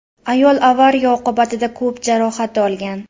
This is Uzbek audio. Ayol avariya oqibatida ko‘p jarohat olgan.